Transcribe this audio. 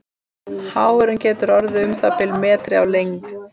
Háfurinn getur orðið um það bil metri á lengd.